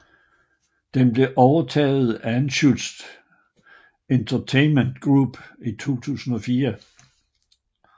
Den blev overtaget af Anschutz Entertainment Group i 2004